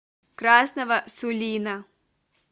красного сулина